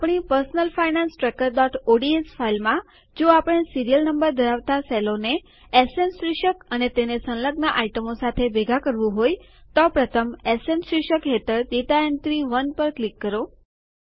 આપણી personal finance tracker ODS ફાઈલમાં જો આપણે સીરીયલ નંબર ધરાવતા સેલોને એસએન શીર્ષક અને તેને સંલગ્ન આઈટમો સાથે ભેગા કરવું હોય તો પ્રથમ એસએન શીર્ષક હેઠળ ડેટા એન્ટ્રી ૧ પર ક્લિક કરો